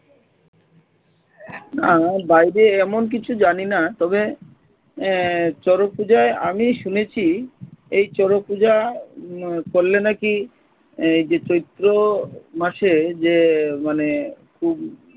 না বাইরে এমন কিছু জানিনা তবে আহ শরৎ পূজায় আমি শুনেছি এই শরৎ পূজা উম করলে নাকি এই যে চৈত্র মাসে যে মানে খুব